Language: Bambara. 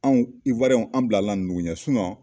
Anw an bilala ninnu ɲɛ